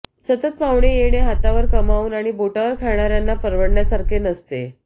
सतत पाहुणे येणे हातावर कमावून आणि बोटावर खाणाऱ्यांना परवडण्यासारखे नसते